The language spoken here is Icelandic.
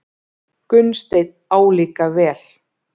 Gunnsteinn álíka vel.